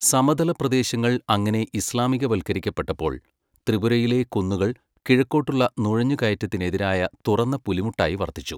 സമതല പ്രദേശങ്ങൾ അങ്ങനെ ഇസ്ലാമികവൽക്കരിക്കപ്പെട്ടപ്പോൾ, ത്രിപുരയിലെ കുന്നുകൾ കിഴക്കോട്ടുള്ള നുഴഞ്ഞുകയറ്റത്തിനെതിരായ തുറന്ന പുലിമുട്ടായി വർത്തിച്ചു.